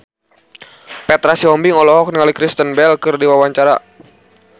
Petra Sihombing olohok ningali Kristen Bell keur diwawancara